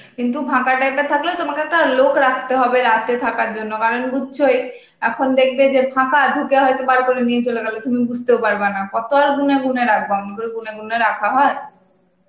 কিন্তু ফাঁকা type এর থাকলেও তোমাকে একটা লোক রাখতে হবে রাতে থাকার জন্য কারণ বুঝছোই, এখন দেখবে যে ফাঁকা, ঢুকে হয়তো বার করে নিয়ে চলে গেল তুমি বুঝতেও পারবা না. কত আর গুনে গুনে রাখবা? অমন করে গুনে গুনে রাখা হয়?